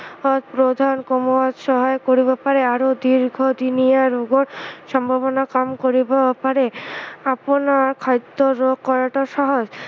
ওজন কমোৱাত সহায় কৰিব পাৰে আৰু দীৰ্ঘদিনীয়া ৰোগৰ সম্ভাৱনা কম কৰিব পাৰে আপোনাৰ খাদ্য় যোগ কৰাতো সহজ